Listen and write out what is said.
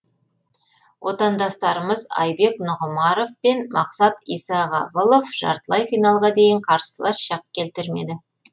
отандастарымыз айбек нұғымаров пен мақсат исағабылов жартылай финалға дейін қарсылас шақ келтірмеді